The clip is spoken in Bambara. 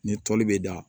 Ni toli bɛ da